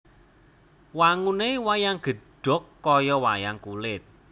Wangune wayang gedhog kaya wayang kulit